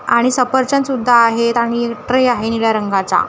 आणि सफरचंद सुद्धा आहेत आणि ट्रे आहे निळ्या रंगाचा.